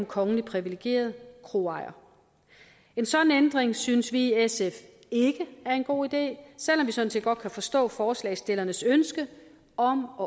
kongeligt privilegeret kroejer en sådan ændring synes vi i sf ikke er en god idé sådan set godt kan forstå forslagsstillernes ønske om